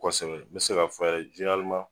Kosɛbɛ n be se ka fɔ yɛrɛ jeneraleman